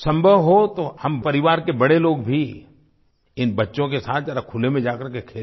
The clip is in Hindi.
संभव हो तो हम परिवार के बड़े लोग भी इन बच्चों के साथ ज़रा खुले में जाकर कर के खेलें